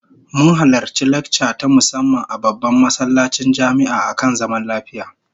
Mun halarci lacca ta musamman a babban masallacin jami'a akan zaman lafiya